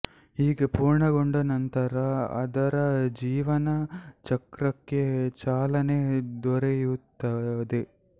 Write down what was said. ಹೀಗೆ ಪೂರ್ಣಗೊಂಡ ನಂತರ ಅದರ ಜೀವನ ಚಕ್ರಕ್ಕೆ ಚಾಲನೆ ದೊರೆಯುತ್ತದೆ